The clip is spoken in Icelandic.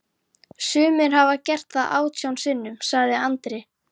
Sumir hafa gert það átján sinnum, sagði Andri.